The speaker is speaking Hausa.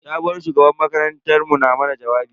Sabuwar shugabar makarantar mu na mana jawabi.